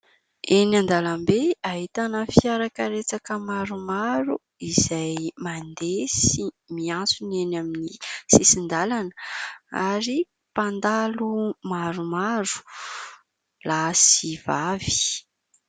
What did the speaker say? Eny an-dalambe ahitana fiara karetsaka maromaro izay mandeha sy miantsona eny amin'ny sisin-dalana, ary mpandalo maromaro lahy sy vavy.